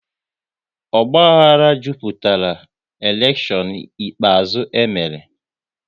Ogbahara jupụtara elekshon ikpeazụ e mere